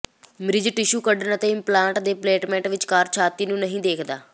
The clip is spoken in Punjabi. ਮਰੀਜ਼ ਟਿਸ਼ੂ ਕੱਢਣ ਅਤੇ ਇਮਪਲਾਂਟ ਦੀ ਪਲੇਟਮੈਂਟ ਵਿਚਕਾਰ ਛਾਤੀ ਨੂੰ ਨਹੀਂ ਦੇਖਦਾ